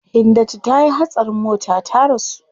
Hindatu tayi hatsarin mota ta rasu.